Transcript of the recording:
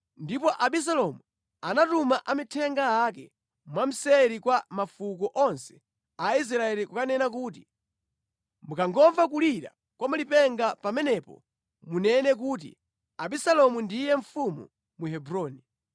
Ndipo Abisalomu anatuma amithenga ake mwamseri kwa mafuko onse a Israeli kukanena kuti, “Mukangomva kulira kwa malipenga pamenepo munene kuti, ‘Abisalomu ndiye mfumu mu Hebroni.’ ”